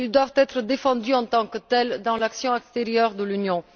Ils doivent être défendus en tant que tels dans l'action extérieure de l'Union.